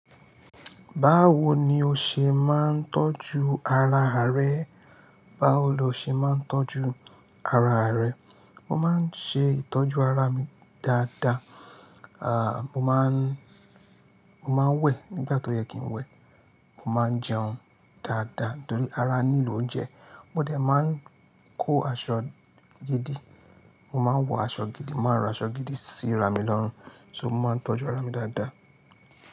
Báwoni o ṣe máa ń tọ́jú ara rẹ? Báwo lo ṣe máa ń tọ́jú ara rẹ? Mo máa ń ṣe ìtọ́jú ara mi dada. Mo máa ń, mo máa ń wẹ̀ nígbà tó yẹ kí n wẹ̀. Mo máa ń jẹun dáadáa torí ara nílò oúnjẹ. Mo dẹ̀ máa ń kó aṣọ gidi. Mo máa ń wọ aṣọ gidi, mo máa ń ran aṣọ gidi sí ara mi lọ́run. So mo máa ń tọ́jú ara mi dáadáa.